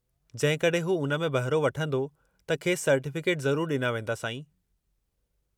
जेकॾहिं हू उन में बहिरो वठंदो त खेसि सर्टीफ़िकेट ज़रूरु ॾिना वेंदा, साईं।